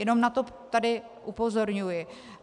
Jenom tady na to upozorňuji.